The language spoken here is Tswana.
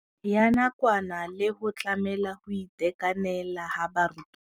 Ya nakwana le go tlamela go itekanela ga barutwana.